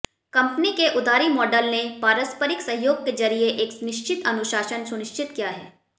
company के उधारी model ने पारस्परिक सहयोग के जरिये एक निश्चित अनुशासन सुनिश्चित किया है